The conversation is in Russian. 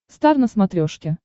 стар на смотрешке